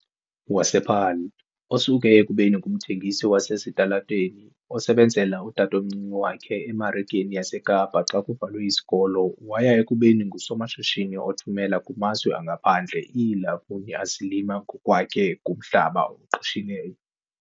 wasePaarl, osuke ekubeni ngumthengisi wasesitalatweni osebenzela utatomncinci wakhe eMarikeni yaseKapa xa kuvalwe izikolo waya ekubeni ngusomashishini othumela kumazwe angaphandle iilamuni azilima ngokwakhe kumhlaba awuqeshileyo.